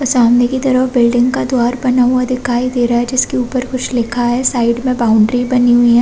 सामने की तरफ बिल्डिंग का द्वार बना हुआ दिखाई दे रहा है जिस के ऊपर कुछ लिखा है साइड में बाउंड्री बनी हुई है।